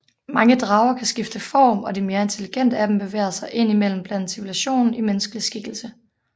Mange drager kan skifte form og de mere intelligente af dem bevæger sig indimellem blandt civilisationen i menneskelig skikkelse